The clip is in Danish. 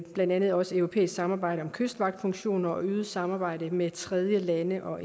blandt andet også europæisk samarbejde om kystvagtfunktioner og øget samarbejde med tredjelande og